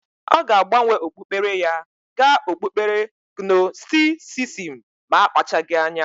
Ọ ga-agbanwe okpukpere ya ga okpukpere gnostisisim ma akpachagi anya.